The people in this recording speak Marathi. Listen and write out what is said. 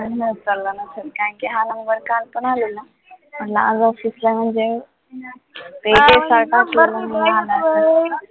त्यामुळे मी उचलला नसेल कारण कि हा number काल पण आलेला, म्हटलं आज office ला म्हणजे